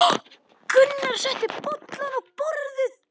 Gunnar setti bollana á borðið.